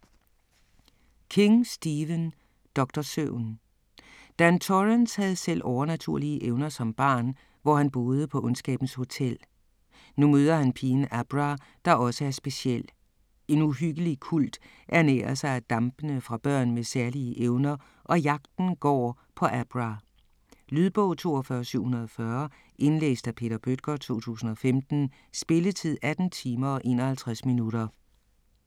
King, Stephen: Doktor Søvn Dan Torrance havde selv overnaturlige evner som barn, hvor han boede på ondskabens hotel. Nu møder han pigen Abra, der også er speciel. En uhyggelig kult ernærer sig af dampene fra børn med særlige evner, og jagten går på Abra. Lydbog 42740 Indlæst af Peter Bøttger, 2015. Spilletid: 18 timer, 51 minutter.